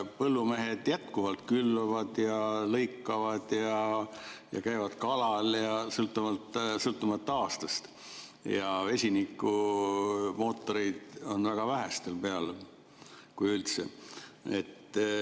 Põllumehed jätkuvalt külvavad ja lõikavad, käivad kalal sõltumata aastast, ja vesinikumootoreid on väga vähestel peal, kui üldse.